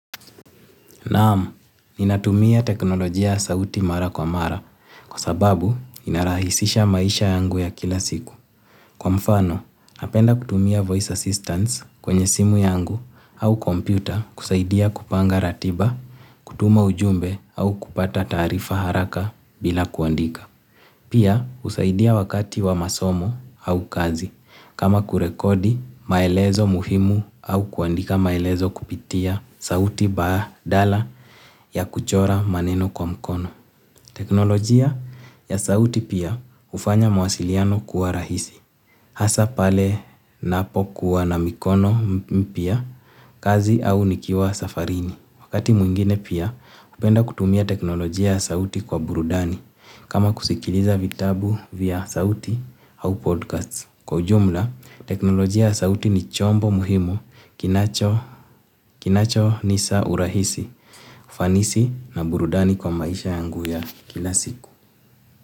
Naamu, ninatumia teknolojia sauti mara kwa mara kwa sababu inarahisisha maisha yangu ya kila siku. Kwa mfano, napenda kutumia voice assistance kwenye simu yangu au kompyuta kusaidia kupanga ratiba, kutuma ujumbe au kupata tarifa haraka bila kuandika. Pia usaidia wakati wa masomo au kazi kama kurekodi maelezo muhimu au kuandika maelezo kupitia sauti badala ya kuchora maneno kwa mkono. Teknolojia ya sauti pia hufanya mawasikiano kuwa rahisi. Hasa pale napo kuwa na mkono pia kazi au nikiwa safarini. Wakati mwingine pia upenda kutumia teknolojia ya sauti kwa burudani. Kama kusikiliza vitabu vya sauti au podcast. Kwa jumla, teknolojia sauti ni chombo muhimu kinacho nisa urahisi, ufanisi na burudani kwa maisha yangu ya kila siku.